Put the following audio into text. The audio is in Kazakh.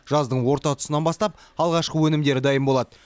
жаздың орта тұсынан бастап алғашқы өнімдері дайын болады